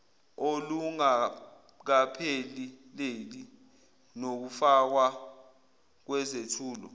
olungakapheleli nokufakwa kwezethulo